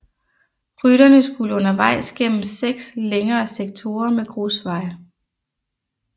Rytterne skulle undervejs igennem seks længere sektorer med grusvej